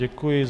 Děkuji.